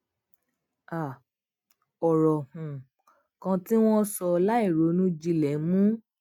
um òrò um kan tí wón sọ láìronú jinlè mú